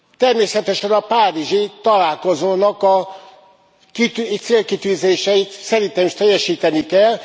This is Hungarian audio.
Természetesen a párizsi találkozónak a célkitűzéseit szerintem is teljesíteni kell.